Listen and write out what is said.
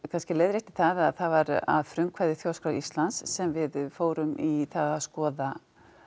kannski leiðrétti það það var að frumkvæði Þjóðskrár Íslands sem við fórum í það að skoða